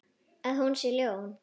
Að hún sé ljón.